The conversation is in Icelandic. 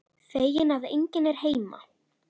Feginn að enginn er heima.